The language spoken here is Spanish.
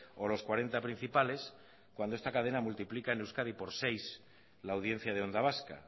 o los cuarenta principales cuando esta cadena multiplica en euskadi por seis la audiencia de onda vasca